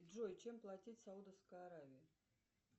джой чем платить в саудовской аравии